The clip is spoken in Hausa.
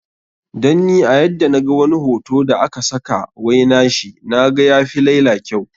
Dan ni a yadda na ga wani hoto da a ka saka wai na shi, naga ya fi laila kyau.